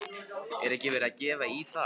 Er ekki verið að gefa í þar?